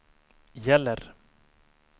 gäller